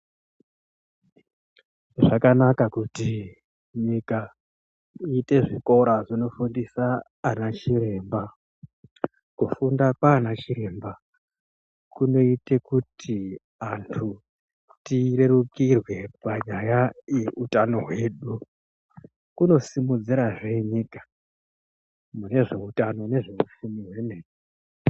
Zvakanaka kuti nyika iite zvikora zvinofundisa anachiremba ,kufunda kwaana chiremba kunoite kuti anhu tirerukirwe panyaya yeutano hwedu kunosimudzirazvehe nyika munezveutano nezveupfumi zvemene.